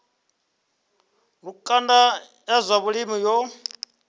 lukanda ya zwa vhulimi yo